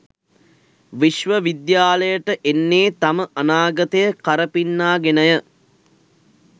විශ්ව විද්‍යාලයට එන්නේ තම අනාගතය කරපින්නා ගෙනය.